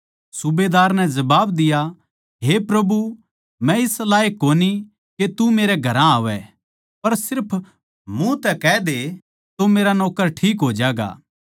सूबेदार नै जवाब दिया हे प्रभु मै इस लायक कोनी के तू मेरे घरां आवै पर सिर्फ मुँह तै कह दे तो मेरा नौक्कर ठीक हो ज्यागा